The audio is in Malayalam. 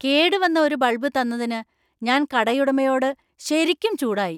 കേടുവന്ന ഒരു ബൾബ് തന്നതിന് ഞാൻ കടയുടമയോട് ശരിക്കും ചൂടായി.